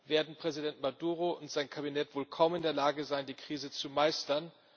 werden Präsident Maduro und sein Kabinett wohl kaum in der Lage sein, die Krise zu meistern.